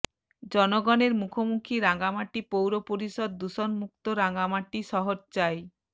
জনগণের মুখোমুখি রাঙামাটি পৌর পরিষদ দূষণমুক্ত রাঙামাটি শহর চাই